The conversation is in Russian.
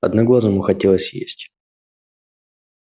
одноглазому хотелось есть